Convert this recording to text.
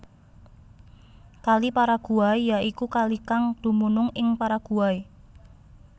Kali Paraguay ya iku kalikang dumunung ing Paraguay